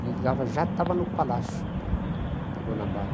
Ele ligava, já estava no Palácio da Guanabara.